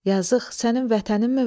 Yazıq, sənin vətəninmi var?